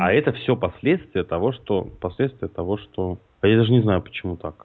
а это все последствия того что последствия того что а я даже не знаю почему так